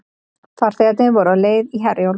Farþegarnir voru á leið í Herjólf